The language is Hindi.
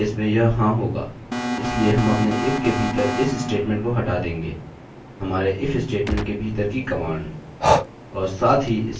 पहले केस में यह हाँ होगा इसलिए हम अपने if के भीतर इस स्टेटमेंट को हटा देंगे – हमारे if स्टेटमेंट के भीतर की कमांड